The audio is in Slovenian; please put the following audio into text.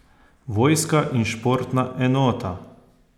Vojska in športna enota?